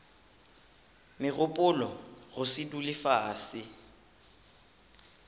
megopolo go se dule fase